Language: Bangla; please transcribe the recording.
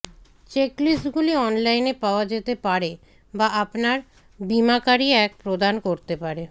চেকলিস্টগুলি অনলাইনে পাওয়া যেতে পারে বা আপনার বীমাকারী এক প্রদান করতে পারে